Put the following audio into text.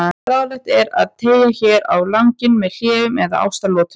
Ráðlegt er að teygja þær á langinn með hléum eða ástaratlotum.